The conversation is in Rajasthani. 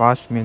पास में